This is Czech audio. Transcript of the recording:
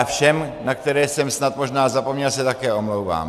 A všem, na které jsem snad možná zapomněl, se také omlouvám.